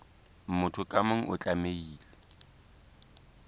motho ka mong o tlamehile